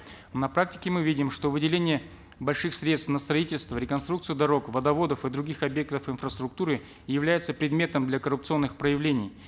на практике мы видим что выделение больших средств на строительство реконструкцию дорог водоводов и других объектов инфраструктуры является предметом для коррупционных проявлений